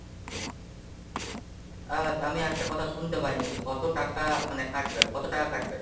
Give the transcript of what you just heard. আ তা আমি একটা কথা শুনতে পাইনি যে কত টাকা মানে কাটবে, কত টাকা কাটবে?